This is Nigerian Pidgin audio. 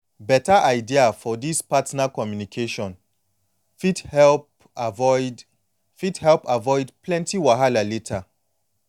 beta idea for this partner communication fit help avoid fit help avoid plenty wahala later